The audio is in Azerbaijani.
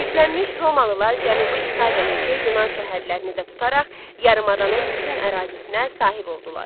Güclənmiş Romalılar Cənubi İtaliyadakı Yunan şəhərlərini də tutaraq yarımadanın bütün ərazisinə sahib oldular.